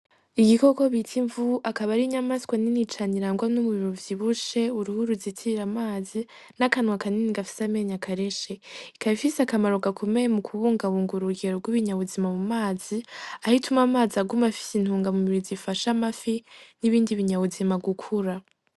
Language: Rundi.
Igikoko bita imvubu akaba ari inyamaswa nini cane irangwa n'umubiri uvyibushe, uruhu ruzitira amazi n'akanwa kanini gafise amenyo akarishe. Ikaba ifise akamaro gakomeye mu kubungabunga urugero rw'ibinyabuzima mu mazi aho ituma amazi aguma afise intunga mubiri zifasha amafi n'ibindi binyabuzima gukura.